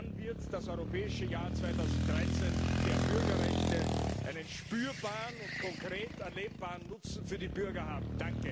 Dann wird das Europäische Jahr 2013 der Bürgerrechte einen spürbaren und konkret erlebbaren Nutzen für die Bürger haben.